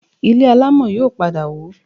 Ilé alámọ̀ yóò padà wó